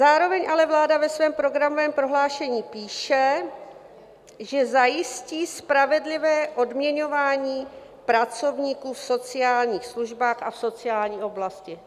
Zároveň ale vláda ve svém programovém prohlášení píše, že zajistí spravedlivé odměňování pracovníků v sociálních službách a v sociální oblasti.